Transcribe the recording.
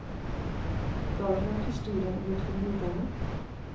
Du har vel hørt historien om de to morderne?